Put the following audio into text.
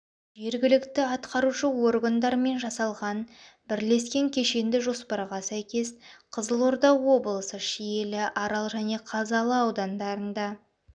жергілікті атқарушы органдармен жасалған бірлескен кешенді жоспарға сәйкес қызылорда облысы шиелі арал және қазалы аудандарында